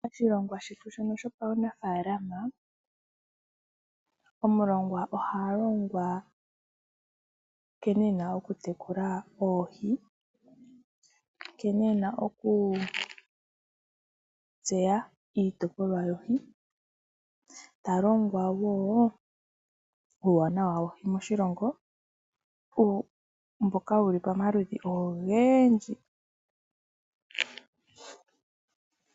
Oshilonga shetu shono sho pawunafalama, Omulongwa oha longwa nkene ena okutekula oohii nkene ena oku tseya iitopolwa yoohi , ta longwa natango uuwanawa woohi moshilongo mboka wuli pamaludhi ongendji.